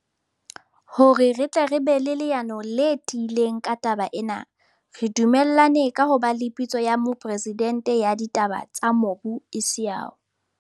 Hore re tle re be le leano le tiileng ka taba ena, re du mellane ka ho ba le Pitso ya Mopresidente ya Ditaba tsa Mobu isao.